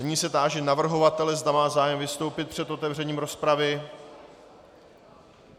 Nyní se táži navrhovatele, zda má zájem vystoupit před otevřením rozpravy.